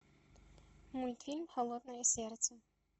мультфильм холодное сердце